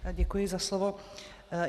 Děkuji za slovo.